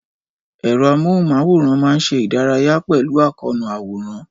Ẹ̀rọ amóhùnmáwòrán máa ń ṣe ìdárayá pẹ̀lú àkóónú àwòrán.